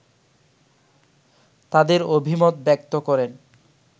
তাদের অভিমত ব্যক্ত করেন